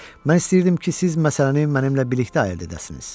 Mən istəyirdim ki, siz məsələni mənimlə birlikdə həll edəsiniz.